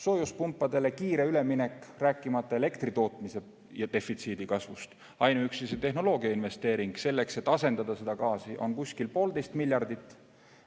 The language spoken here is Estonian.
Soojuspumpadele kiire üleminek, rääkimata elektri tootmise ja defitsiidi kasvust – ainuüksi tehnoloogiasse investeering, selleks et asendada gaasi, on poolteist miljardit.